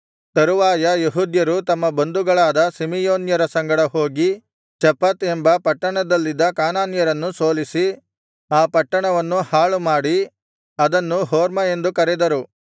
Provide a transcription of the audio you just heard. ತರುವಾಯ ಯೆಹೂದ್ಯರು ತಮ್ಮ ಬಂಧುಗಳಾದ ಸಿಮೆಯೋನ್ಯರ ಸಂಗಡ ಹೋಗಿ ಚೆಫತ್ ಎಂಬ ಪಟ್ಟಣದಲ್ಲಿದ್ದ ಕಾನಾನ್ಯರನ್ನು ಸೋಲಿಸಿ ಆ ಪಟ್ಟಣವನ್ನು ಹಾಳುಮಾಡಿ ಅದನ್ನು ಹೊರ್ಮಾ ಎಂದು ಕರೆದರು